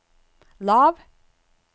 lav